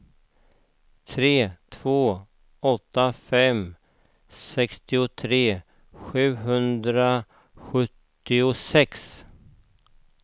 tre två åtta fem sextiotre sjuhundrasjuttiosex